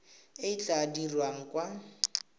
e e tla dirwang kwa